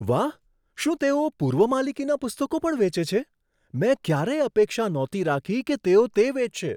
વાહ! શું તેઓ પૂર્વ માલિકીના પુસ્તકો પણ વેચે છે? મેં ક્યારેય અપેક્ષા નહોતી રાખી કે તેઓ તે વેચશે.